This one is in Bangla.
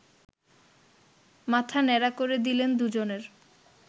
মাথা ন্যাড়া করে দিলেন দুজনের